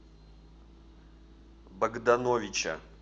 богдановича